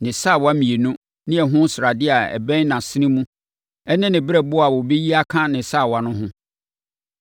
ne sawa mmienu ne ɛho sradeɛ a ɛbɛn nʼasene mu ne ne berɛboɔ a wɔbɛyi aka ne sawa no ho.